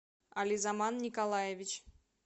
ализаман николаевич